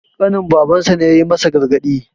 ƙanin babarsa ne ya yi masa gargadi